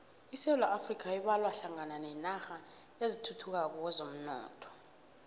isewula afrika ibalwa hlangana nenarha ezisathuthukako kwezomnotho